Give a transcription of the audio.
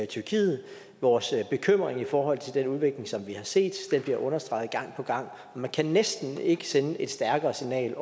tyrkiet vores bekymring i forhold til den udvikling som vi har set bliver understreget gang på gang man kan næsten ikke sende et stærkere signal